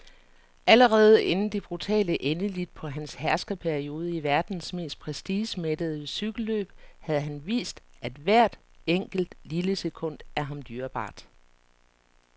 Allerede inden det brutale endeligt på hans herskerperiode i verdens mest prestigemættede cykelløb havde han vist, at hvert enkelt, lille sekund er ham dyrebart.